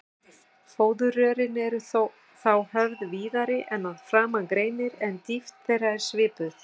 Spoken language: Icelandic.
Fóðurrörin eru þá höfð víðari en að framan greinir, en dýpt þeirra er svipuð.